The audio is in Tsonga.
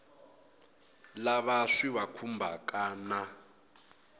lava swi va khumbhaka na